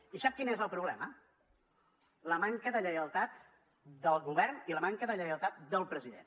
i sap quin és el problema la manca de lleialtat del govern i la manca de lleialtat del president